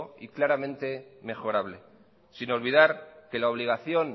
y claramente mejorable sin olvidar que la obligación